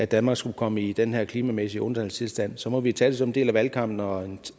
danmark skulle komme i den her klimamæssige undtagelsestilstand så må vi tage det som en del af valgkampen og